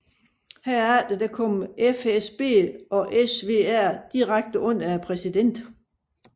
Herefter kom FSB og SVR direkte under præsidenten